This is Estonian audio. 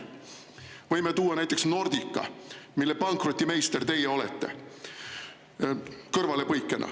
Võin tuua kõrvalepõikena näiteks Nordica, mille pankrotimeister teie olete.